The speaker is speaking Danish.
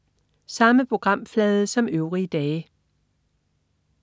Samme programflade som øvrige dage